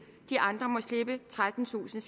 de andre må slippe trettentusinde